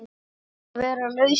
Að vera laus við